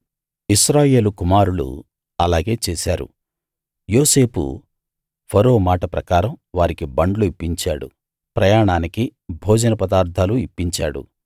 ఇశ్రాయేలు కుమారులు అలాగే చేశారు యోసేపు ఫరో మాట ప్రకారం వారికి బండ్లు ఇప్పించాడు ప్రయాణానికి భోజన పదార్ధాలు ఇప్పించాడు